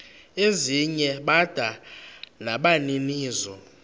ezinye bada nabaninizo